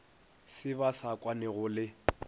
se ba sa kwanego le